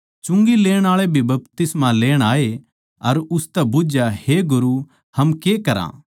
चुंगी लेण आळे भी बपतिस्मा लेण आए अर उसतै बुझया हे गुरू हम के करा